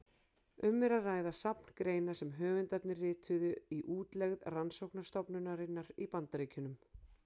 Um er að ræða safn greina sem höfundarnir rituðu í útlegð rannsóknarstofnunarinnar í Bandaríkjunum.